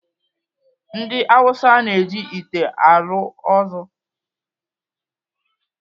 Ndị Awụsa na-eji ite elu ozu.